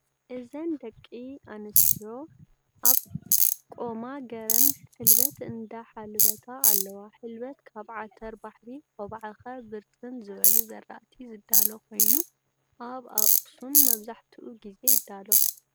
እዘነ ደቂ ኣንስትዮ ኣብ ቆማ ገረን ሕልበት እንዳሓልበት ኣለዋ። ሕልበት ካብ ዓተረባሕሪ ፣ኣባዓኸ፣ ብርስን ዝበሉ ዘራእቲ ዝዳሎ ኮይኑ ኣብ ኣክሱም መብዛሕቲኡ ግዜ ይዳሎ።